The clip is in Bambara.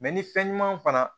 ni fɛn ɲuman fana